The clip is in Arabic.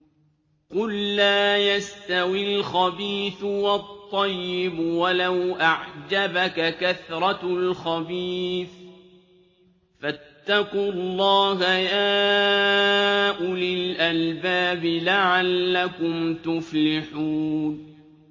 قُل لَّا يَسْتَوِي الْخَبِيثُ وَالطَّيِّبُ وَلَوْ أَعْجَبَكَ كَثْرَةُ الْخَبِيثِ ۚ فَاتَّقُوا اللَّهَ يَا أُولِي الْأَلْبَابِ لَعَلَّكُمْ تُفْلِحُونَ